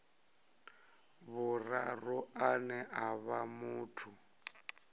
vhuraru ane a vha muthu